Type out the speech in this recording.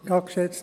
der SiK.